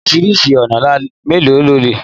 Oríṣi ọ̀nà mélòó la le gbà se Ewúro?